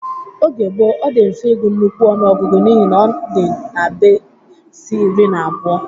Oge gboo, ọ dị mfe igu nnukwu ọṅụogugu n'ihi na ọ dị na-besi iri na abụọ